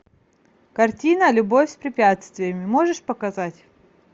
картина любовь с препятствиями можешь показать